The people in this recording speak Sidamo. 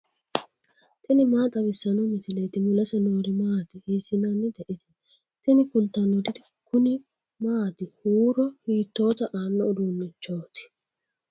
tini maa xawissanno misileeti ? mulese noori maati ? hiissinannite ise ? tini kultannori kuni maati huuro hiitoota aano uduunnichooti